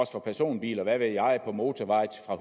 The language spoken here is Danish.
for personbiler og hvad ved jeg på motorveje fra